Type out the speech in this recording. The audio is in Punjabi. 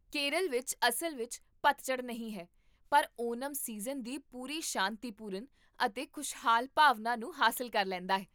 ਕੇਰਲ ਵਿੱਚ ਅਸਲ ਵਿੱਚ ਪਤਝੜ ਨਹੀਂ ਹੈ, ਪਰ ਓਨਮ ਸੀਜ਼ਨ ਦੀ ਪੂਰੀ ਸ਼ਾਂਤੀਪੂਰਨ ਅਤੇ ਖੁਸ਼ਹਾਲ ਭਾਵਨਾ ਨੂੰ ਹਾਸਲ ਕਰ ਲੈਂਦਾ ਹੈ